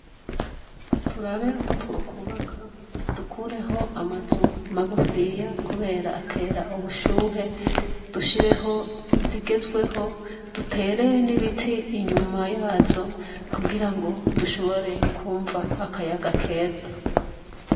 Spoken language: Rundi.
Turabe uko twokubaka dukureho amazu magufiya kubera atera ubushuhe dushireho izigezweho, dutere n'ibiti inyuma yazo kugirango dushobore kumva akayaga keza.